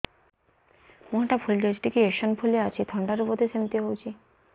ମୁହଁ ଟା ଫୁଲି ଯାଉଛି ଟିକେ ଏଓସିନୋଫିଲିଆ ଅଛି ଥଣ୍ଡା ରୁ ବଧେ ସିମିତି ହଉଚି